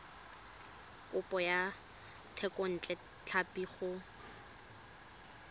kopo ya thekontle tlhapi go